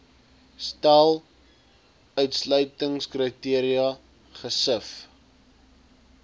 stel uitsluitingskriteria gesif